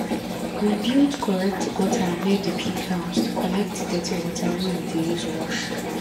we build correct gutter near the pig house to collect dirty water wey we dey use wash